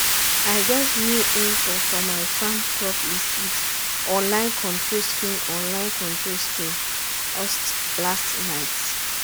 i get new info for my farm crop list with online control screen online control screen ust last night.